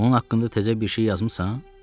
Onun haqqında təzə bir şey yazmısan?